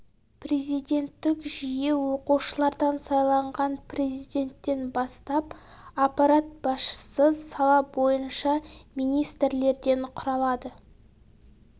президенттік жүйе оқушылардан сайланған президенттен бастап аппарат басшысы сала бойынша министрлерден құралады